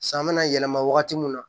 San bɛna yɛlɛma wagati min na